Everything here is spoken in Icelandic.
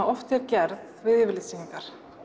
oft er gerð við yfirlitssýningar